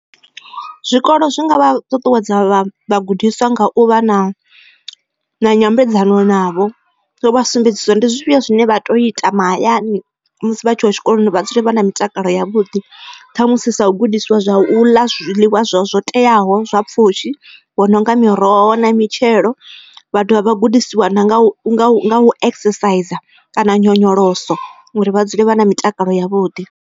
Zwikolo zwi nga vha ṱuṱuwedza vhagudiswa nga u vha na nyambedzano navho vha sumbedziswa ndi zwifhio zwine vha tea u ita mahayani vha tshi ya tshikoloni vha dzule vha na mitakalo ya vhuḓi ṱhamusi sa gudiswa zwa u ḽa zwiḽiwa zwo teaho zwa pfhushi vho no nga miroho na mitshelo vha dovha vha gudisiwa na nga u exerciser kana nyonyoloso uri vha dzule vha na mitakalo ya vhuḓi.